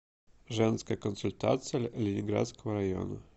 женская консультация ленинградского района